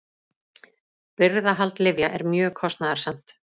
Birgðahald lyfja er mjög kostnaðarsamt.